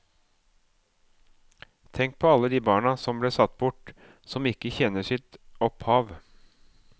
Tenk på alle de barna som ble satt bort, som ikke kjenner til sitt opphav.